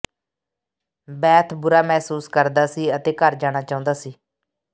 birth ਬੁਰਾ ਮਹਿਸੂਸ ਕਰਦਾ ਸੀ ਅਤੇ ਘਰ ਜਾਣਾ ਚਾਹੁੰਦਾ ਸੀ